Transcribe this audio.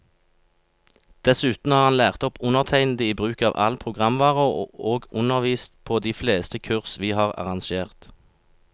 Dessuten har han lært opp undertegnede i bruk av all programvare, og undervist på de fleste kurs vi har arrangert.